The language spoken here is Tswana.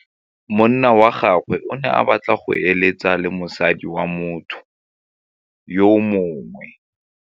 Monna wa gagwe o ne a batla go êlêtsa le mosadi wa motho yo mongwe.